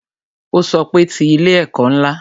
Ó sọ pé "Ti ilé ẹ̀kọ́ ńlá"